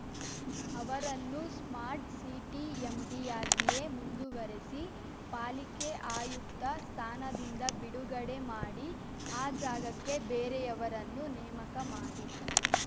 ಅವರನ್ನು smart city ಎಂಡಿಯಾಗಿಯೇ ಮುಂದುವರಿಸಿ ಪಾಲಿಕೆ ಆಯುಕ್ತ ಸ್ಥಾನದಿಂದ ಬಿಡುಗಡೆ ಮಾಡಿ ಆ ಜಾಗಕ್ಕೆ ಬೇರೆಯವರನ್ನು ನೇಮಕ ಮಾಡಿ